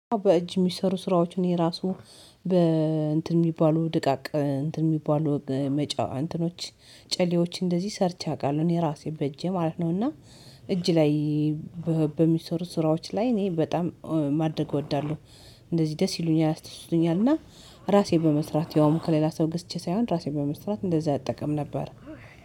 በእጅ የሚሰሩ ስራዎችን የራሱ በእንትን የሚባሉ ድቃቅ እንትን የሚባሉ መጫ እንትኖች ጨሌዎች እንደዚህ ሰርቼ አውቃለሁ እኔ ራሴ በእጄ ማለት ነው። እና እጅ ላይ በሚሰሩ ስራዎች ላይ እኔ በጣም ማድረግ እወዳለሁ እንደዚህ ደስ ይሉኛል ያስደስቱኛል እና ራሴ በመስራት ያውም ከሌላ ሰው ገስቼ ሳይሆን ራሴ በመስራት እንደዛ አጠቀም ነበር።